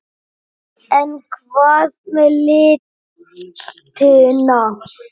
En hvað með litina?